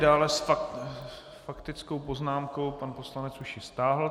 Dále s faktickou poznámkou... pan poslanec ji už stáhl.